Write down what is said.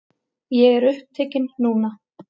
Ég er upptekinn núna.